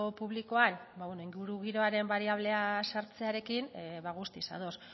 publikoan ingurugiroaren bariablea sartzearekin guztiz ados